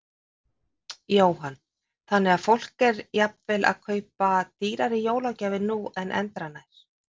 Jóhann: Þannig að fólk er þá jafnvel að kaupa dýrari jólagjafir núna en endranær?